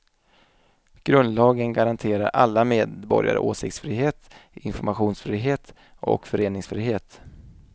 Grundlagen garanterar alla medborgare åsiktsfrihet, informationsfrihet och föreningsfrihet.